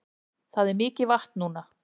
Það er mikið vatn núna